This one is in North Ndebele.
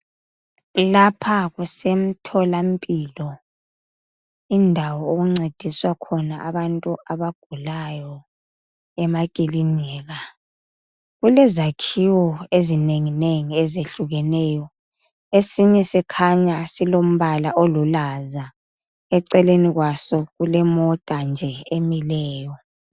Lapha kusemtholampilo, indawo okuncediswa khona abantu abagulayo emakilinika. Kulezakhiwo ezinenginengi ezehlukeneyo. Esinye sikhanya silombala oluhlaza. Eceleni kwaso kulemota nje emileyo.